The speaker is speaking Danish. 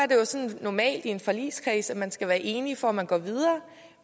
normalt sådan i en forligskreds at man skal være enige for at man går videre